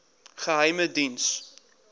geheimediens